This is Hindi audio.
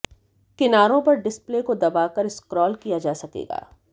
किनारों पर डिस्प्ले को दबाकर स्क्रॉल किया जा सकेगा